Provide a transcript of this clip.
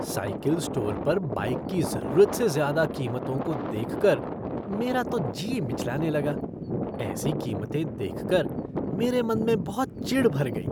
Cycle store पर bike की ज़रूरत से ज़्यादा कीमतों को देखकर मेरा तो जी मिचलाने लगा। ऐसी कीमतें देखकर मेरे मन में बहुत चिढ़ भर गई।